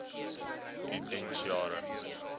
u diens jare